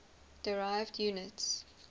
derived units